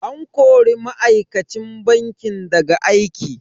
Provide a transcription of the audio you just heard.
An kori ma'aikacin bankin daga aiki.